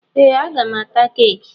Ee! A ga m ata keeki.